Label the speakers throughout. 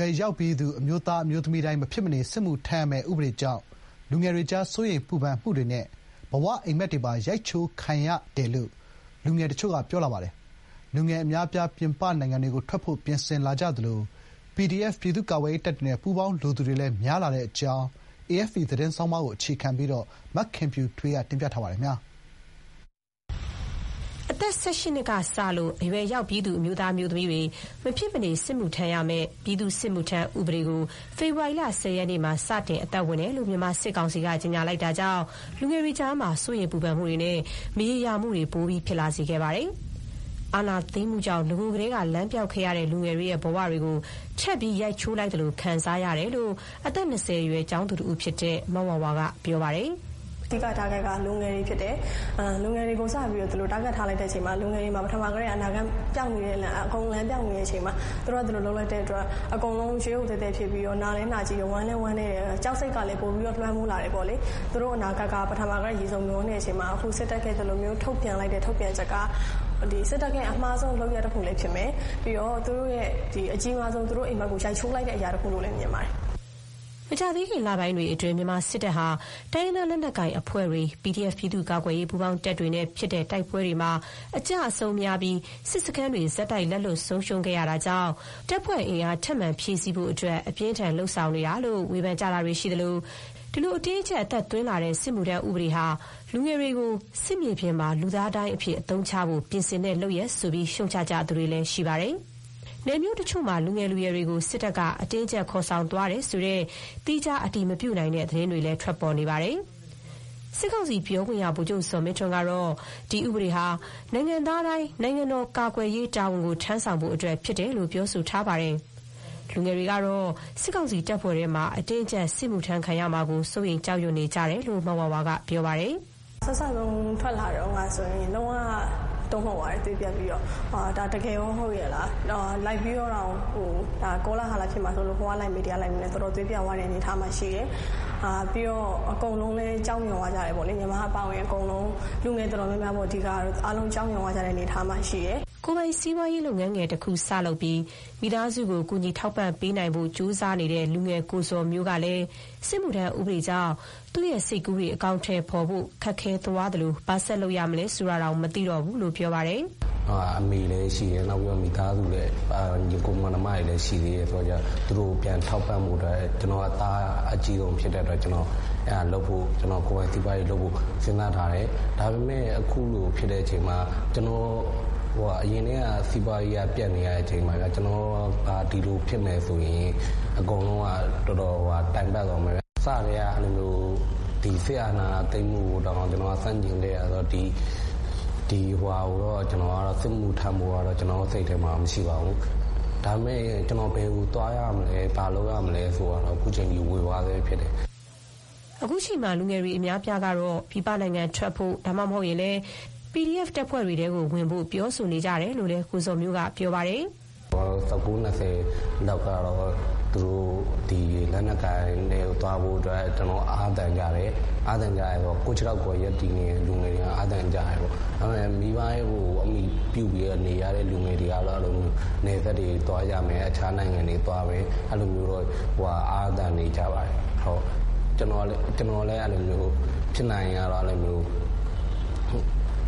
Speaker 1: ွယ်ရောက်ပြီးသူ အမျိုးသား အမျိုးသမီးတိုင်း မဖြစ်မနေ စစ်မှုထမ်းရမယ့်ဥပဒေကြောင့် လူငယ်တွေကြား စိုးရိမ်ပူပန်မှုတွေနဲ့ ဘဝအိပ်မက်တွေပါ ရိုက်ချိုးခံလိုက်ရတယ်လို့ လူငယ်တချို့က ပြောပါတယ်။ လူငယ်အများအပြား ပြည်ပနိုင်ငံတွေကို ထွက်ဖို့ ပြင်ဆင်လာကြသလို၊ PDF ပြည်သူ့ကာကွယ်ရေးတပ်တွေနဲ့ ပူးပေါင်း လိုသူတွေလည်း များလာတဲ့အကြောင်း AFP သတင်းဆောင်းပါးကို အခြေခံပြီး မခင်ဖြူထွေးက တင်ပြထားပါတယ်။
Speaker 2: အသက် ၁၈ နှစ်ကစပြီး အရွယ်ရောက်ပြီးသူ အမျိုးသား အမျိုးသမီးတွေ မဖြစ်မနေ စစ်မှုထမ်းရမယ့် “ပြည်သူ့စစ်မှုထမ်းဥပဒေ” ဖေဖော်ဝါရီလ ၁၀ ရက်နေ့မှာ စတင် အသက်ဝင်တဲ့အကြောင်း မြန်မာစစ်ကောင်စီက ကြေညာလိုက်တာကြောင့် လူငယ်တွေကြားမှာ စိုးရိမ်ပူပန်မှုတွေနဲ့ မရေရာမှုတွေ ပိုပြီး ဖြစ်လာခဲ့ပါတယ်။ အာဏာသိမ်းမှုကြောင့် နဂိုကတည်းက လမ်းပျောက်နေရတဲ့ လူငယ်တွေရဲ့ ဘဝတွေကို ထပ်ပြီး ရိုက်ချိုးလိုက်သလို ခံစားရတယ်လို့ အသက် ၂၀ ရွယ် ကျောင်းသူတဦးဖြစ်တဲ မဝါဝါက ပြောပါတယ်။
Speaker 3: “သူတို့ရဲ့ အဓိက Target က လူငယ်တွေ ဖြစ်တယ်။ လူငယ်တွေကို ဒီလို target ထားလိုက်တဲ့အချိန်မှာ ပထမကတည်းက အနာဂတ်ပျောက်၊ အကုန်လုံး လမ်းပျောက်နေတဲ့ အချိန်မှာ သူတို့က ဒီလို လုပ်လိုက်တဲ့အတွက် အကုန်လုံး ရုတ်ရုတ်သည်းသည်း ဖြစ်ပြီး နာလည်း နာကျည်းတယ်။ ဝမ်းလည်း ဝမ်းနည်းတယ်။ ကြောက်စိတ်က ပိုလည်း ကြီးလားတယ်။ အနာဂတ်က အစကတည်းက ရေစုံမျောနေတဲ့အချိန်မှာ အခု စစ်တပ်ရဲ့ ဒီလိုမျိုး ထုတ်ပြန်ချက်က စစ်တပ်ရဲ့ အမှားဆုံး လုပ်ရပ်တခုလည်း ဖြစ်မယ်။ ပြီးတော့ သူတို့ရဲ့ (လူငယ်တွေရဲ့) အကြီးမားဆုံး အိပ်မက်ကို ရိုက်ချိုးလိုက်တဲ့ အရာတခုလို့လည်း မြင်ပါတယ်။”
Speaker 2: မကြာသေးခင် လပိုင်းတွေအတွင်း မြန်မာစစ်တပ်ဟာ တိုင်းရင်းသားလက်နက်ကိုင် အဖွဲ့တွေ၊ PDF ပြည်သူ့ကာကွယ်ရေး ပူးပေါင်း တပ်ဖွဲ့တွေနဲ့ ဖြစ်တဲ့ တိုက်ပွဲတွေမှာ အကျအဆုံးများပြီး စစ်စခန်းတွေ ဆက်တိုက် လက်လွတ် ဆုံးရှုံးခဲ့ရတာကြောင့် တပ်ဖွဲ့အင်အား ထပ်မံ ဖြည့်ဆည်းဖို့အတွက် အပြင်းအထန် လုပ်ဆောင်နေတာလို့ ဝေဖန်ကြတာတွေ ရှိသလို၊ စစ်ကောင်စီ အတင်းအကျပ် အသက်သွင်းလာတဲ့ စစ်မှုထမ်း ဥပဒေဟာ လူငယ်တွေကို စစ်မြေပြင်မှာ လူသားဒိုင်းအဖြစ် အသုံးချဖို့ ပြင်ဆင်တဲ့ လုပ်ရပ်ဆိုပြီး ရှုတ်ချသူတွေလည်း ရှိပါတယ်။ နယ်မြို့တချို့မှာ လူငယ် လူရွယ်တွေကို စစ်တပ်က အတင်းအကျပ် ခေါ်ဆောင်သွားတယ်ဆိုတဲ့ သီးခြား အတည်မပြုနိုင်သေးတဲ့ သတင်းတွေလည်း ထွက်ပေါ်နေပါတယ်။ စစ်ကောင်စီ ပြောခွင့်ရ ဗိုလ်ချုပ် ဇော်မင်းထွန်း ကတော့ ဒီဥပဒေဟာ နိုင်ငံသားတိုင်း နိုင်ငံတော် ကာကွယ်ရေးတာဝန် ထမ်းဆောင်ဖို့အတွက် ဖြစ်တယ်လို့ ပြောဆိုထားပါတယ်။ လူငယ်တွေ ကတော့ စစ်ကောင်စီ တပ်ဖွဲ့ထဲမှာ အတင်းအကျပ် စစ်မှုထမ်းခံရမှာကို စိုးရိမ်ကြောက်ရွံ့ နေကြတယ်လို့ မဝါဝါက ပြောပါတယ်။
Speaker 3: “စ ထွက်လာတုန်းကဆိုရင် လုံးဝ တုန်လှုပ်သွားတယ်။ သွေးပျက်ပြီးတော့။ ဒါ တကယ်ရော ဟုတ်ရဲ့လား။ ကောလာဟလ ဖြစ်မှာစိုးလို့ လိုက်ပြီးတော့တောင် မေးပြီး တော်တော် သွေးပျက်သွားတဲ့ အနေအထားမှာရှိတယ်။ အကုန်လုံးလည်း ကြောက်ရွံ့သွားကြတယ်။ ညီမ အပါအဝင် အကုန်လုံး လူငယ် အတော်များများ ကတော့ အားလုံး ကြောက်ရွံ့သွားကြတဲ့ အနေအထားမှာ ရှိတယ်။
Speaker 2: ” ကိုယ်ပိုင်စီးပွားရေး လုပ်ငန်းငယ်တခု စပြီး မိသားစုကို ကူညီထောက်ပံ့ဖို့ ကြိုးစားနေတဲ့ လူငယ် ကိုဇော်မျိုးကလည်း စစ်မှုထမ်းဥပဒေကြောင့် သူ့စိတ်ကူးတွေ အကောင်အထည် ဖော်ဖို့ ခက်သွားသလို၊ ဘာဆက်လုပ်ရမလဲ ဆိုတာတောင် မသိတော့ဘူးလို့ ပြောပါတယ်
Speaker 1: ။ “အမေလည်း ရှိတယ်။ မိသားစု ညီအကိုမောင်နှမတွေလည်း ရှိသေးတယ်ဆိုတော့ သူတို့ကို ပြန်ထောက်ပံ့ဖို့အတွက် ကျနော်က သားအကြီးဆုံးဖြစ်တော့ ကိုယ်ပိုင် စီးပွားရေးလုပ်ဖို့ စဥ်းစားထားတယ်။ ဒါပေမဲ့ အခုလိုဖြစ်တဲ့အချိန်မှာ၊ အရင်ကတည်းက စီးပွားရေးက ပျက်နေရတဲ့အချိန်မှာ ဒီလိုသာဖြစ်မယ်ဆိုရင် အကုန်လုံးက တော်တော် တိုင်ပတ်သွားမယ်ဗျာ။ အစကတည်းက စစ်အာဏာသိမ်းမှုကိုတောင်မှ ကျနော်က ဆန့်ကျင်ခဲ့တာဆိုတော့ စစ်မှုထမ်းဖို့တော့ စိတ်ထဲမှာ မရှိပါဘူး။ ဒါပေမဲ့ ကျနော် ဘယ်ကိုသွားရမလဲ။ ဘာလုပ်ရမလဲ ဆိုတာတော့ ခုချိန်ထိ ဝေဝါးဆဲဖြစ်တယ်
Speaker 2: ။” ခုချိန်မှာ လူငယ်တွေ အများအပြားကတော့ ပြည်ပနိုင်ငံ ထွက်ဖို့၊ ဒါမှမဟုတ်ရင်လည်း PDF ပြည်သူ့ကာကွယ်ရေး တပ်ဖွဲ့တွေထဲ ဝင်ဖို့ ပြောဆိုနေကြတယ်လို့လည်း ကိုဇော်မျိုးက ပြောပါတယ်။ “
Speaker 1: အသက် ၁၉၊ ၂၀ လောက်တွေကတော့ သူတို့ လက်နက်ကိုင်တွေထဲကို သွားဖို့ အားသန်ကြတယ်။ ကိုယ့်ခြေထောက်ပေါ် ရပ်တည်နေတဲ့ လူတွေက ဒါကို အားသန်ကြတယ်။ ဒါပေမဲ့ မိဘကို အမှီပြုပြီးတော့ နေရတဲ့ လူတွေကတော့ နယ်စပ်တွေ သွားကြမယ်။ တခြား နိုင်ငံတွေ သွားကြမယ် ဆိုတာမျိုး အားသန်ကြတယ်။ ကျနော်လည်း အဲ့လိုမျိုး ဖြစ်နိုင်ရင်တော့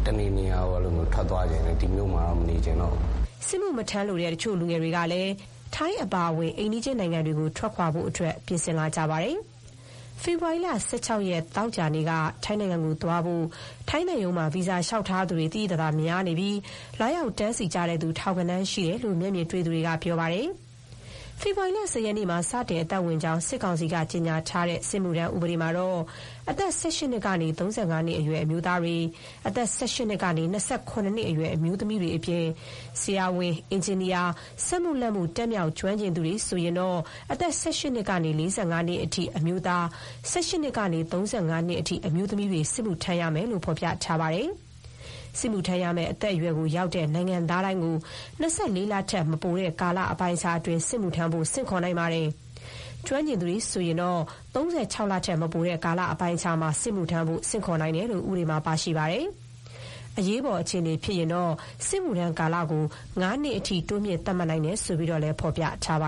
Speaker 1: တနေရာရာကို ထွက်သွားချင်တယ်။ ဒီမြို့မှာတော့ ဆက်မနေချင်တော့ဘူး။
Speaker 2: ” စစ်မှုမထမ်းလိုတဲ့ လူငယ်တွေကတော့ ထိုင်းအပါအဝင် အိမ်နီးချင်းနိုင်ငံတွေကို ထွက်ခွာဖို့ ပြင်လာကြပါတယ်။ ဖေဖော်ဝါရီလ ၁၆ ရက်၊ သောကြာနေ့က ထိုင်းနိုင်ငံ သွားနိုင်ဖို့ ထိုင်းသံရုံးမှာ ဗီဇာလျှောက်သူတွေ သိသိသာသာ များနေပြီး လာရောက် တန်းစီသူ ထောင်ဂဏန်း ရှိတယ်လို့ မျက်မြင်တွေ့သူတွေက ပြောပါတယ်။ ဖေဖော်ဝါရီ ၁၀ ရက်နေ့မှာ စတင် အသက်ဝင်ကြောင်း စစ်ကောင်စီက ကြေညာထားတဲ့ စစ်မှုထမ်းဥပဒေမှာတော့ အသက် ၁၈ နှစ်ကနေ ၃၅ နှစ်အရွယ် အမျိုးသားတွေ၊ အသက် ၁၈ နှစ်ကနေ ၂၇ နှစ်အရွယ် အမျိုးသမီးတွေအပြင်၊ ဆရာဝန်၊ အင်ဂျင်နီယာ၊ စက်မှုလက်မှုပညာ တတ်မြောက် ကျွမ်းကျင်သူတွေဆိုရင်တော့ အသက် ၁၈ နှစ်ကနေ ၄၅ နှစ်အထိ အမျိုးသား၊ ၁၈ နှစ်ကနေ ၃၅ နှစ်အထိ အမျိုးသမီးတွေ စစ်မှုထမ်းရမယ်လို့ ဥပဒေမှာ ဖော်ပြထားပါတယ်။ စစ်မှုထမ်းရမယ့် အသက်အရွယ်ရောက်တဲ့ နိုင်ငံသားတိုင်းကို ၂၄ လထက် မပိုတဲ့ကာလ အပိုင်းအခြားအတွက် စစ်မှုထမ်းဖို့ ဆင့်ခေါ်နိုင်ပါတယ်။ ကျွမ်းကျင်သူတွေ ဆိုရင်တော့ (၃၆) လထက် မပိုတဲ့ ကာလအပိုင်းအခြားမှာ စစ်မှုထမ်းဖို့ ဆင့်ခေါ်နိုင်တယ်လို့ ဥပဒေမှာ ပါရှိပါတယ်။ အရေးပေါ် အခြေအနေ ဖြစ်ရင်တော့ စစ်မှုထမ်းကာလကို ၅ နှစ်အထိ တိုးမြင့် သတ်မှတ်နိုင်ကြောင်းလည်း ဖော်ပြထားပါ